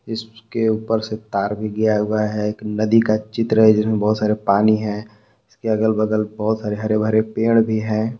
इसके ऊपर से तार भी गया हुआ है एक नदी का चित्र जिसमें बहुत सारे पानी है इसके अगल बगल बहुत सारे हरे भरे पेड़ भी है।